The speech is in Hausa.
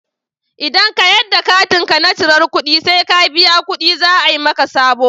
Idan ka yadda katinka na cirar ƙuɗi sai ka biya ƙuɗi za a yi maka sabo.